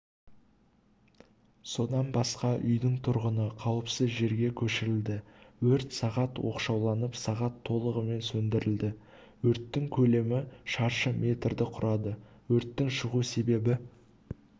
содан басқа үйдің тұрғыны қауіпсіз жерге көшірді өрт сағат оқшауланып сағат толығымен сөндірілді өрттің көлемі шаршы метрді құрады өрттің шығу себебі